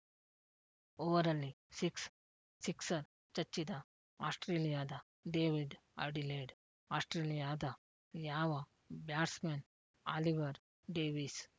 ಓವರಲ್ಲಿ six sixer ಚಚ್ಚಿದ ಆಸ್ಪ್ರೇಲಿಯಾದ David Adelaide ಆಸ್ಪ್ರೇಲಿಯಾದ ಯಾವ ಬ್ಯಾಟ್ಸ್‌ಮನ್‌ ಆಲಿವರ್‌ ಡೇವಿಸ್‌